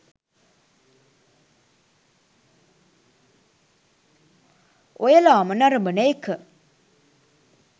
ඔයලාම නරඹන එක